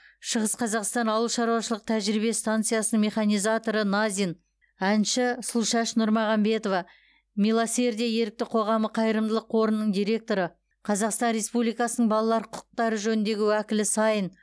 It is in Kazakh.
шығыс қазақстан ауыл шаруашылық тәжірибе станциясының механизаторы назин әнші сұлушаш нұрмағамбетова милосердие ерікті қоғамы қайырымдылық қорының директоры қазақстан республикасының балалар құқықтары жөніндегі уәкілі саин